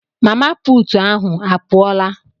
Mama puutu ahụ a pụọla?